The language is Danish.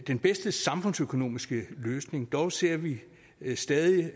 den bedste samfundsøkonomiske løsning dog ser vi stadig